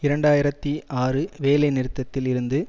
இரண்டு ஆயிரத்தி ஆறு வேலை நிறுத்தத்தில் இருந்து